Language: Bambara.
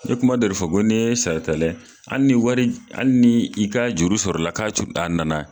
N ye kuma dɔ de fɔ ko ne ye saratala ye ali ni wari hali ni i ka juru sɔrɔla k'a cun a nana